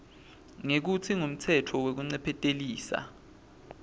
ngekutsi ngumtsetfo wekuncephetelisa